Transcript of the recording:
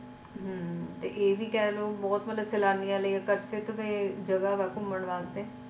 ਹਮ ਤੇ ਇਹ ਵੀ ਕਹਿ ਲੋ ਬਹੁਤ ਮਤਲਬ ਸੈਲਾਨੀਆਂ ਲਈ ਆਕਰਸ਼ਿਤ ਦੇ ਜਗਾ ਵਾ ਘੁੰਮਣ ਵਾਸਤੇ।